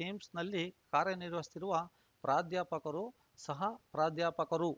ಕಿಮ್ಸ್‌ನಲ್ಲಿ ಕಾರ್ಯನಿರ್ವಹಿಸುತ್ತಿರುವ ಪ್ರಾಧ್ಯಾಪಕರು ಸಹ ಪ್ರಾಧ್ಯಾಪಕರು